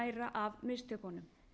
að læra af mistökunum